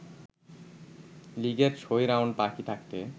লিগের ৬ রাউন্ড বাকি থাকতে